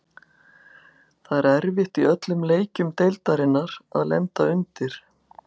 Það er erfitt í öllum leikjum deildarinnar að lenda undir.